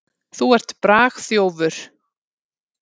Þú ert bragþjófur.